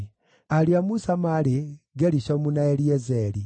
Ariũ a Musa maarĩ: Gerishomu na Eliezeri.